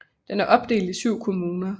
Den er opdelt i 7 kommuner